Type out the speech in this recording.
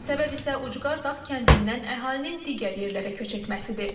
Səbəb isə ucqar dağ kəndindən əhalinin digər yerlərə köç etməsidir.